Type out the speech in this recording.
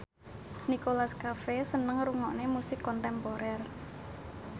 Nicholas Cafe seneng ngrungokne musik kontemporer